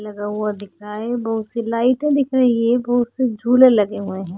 लगा हुआ दिख रहा है बहुत सी लाइटे दिख दिख रही है बहुत से झूले लगे हुए है।